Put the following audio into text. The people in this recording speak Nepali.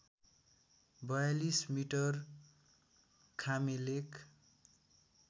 ४२ मिटर खामेलेक